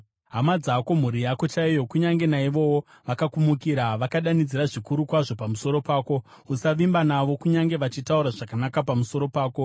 Hama dzako, mhuri yako chaiyo, kunyange naivowo vakakumukira; vakadanidzira zvikuru kwazvo pamusoro pako. Usavimba navo, kunyange vachitaura zvakanaka pamusoro pako.